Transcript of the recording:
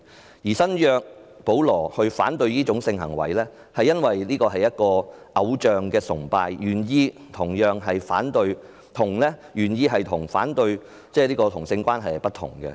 新約《聖經》中的保羅反對這種性行為，因為這是偶象崇拜，原意與反對同性關係可能不同。